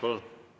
Palun!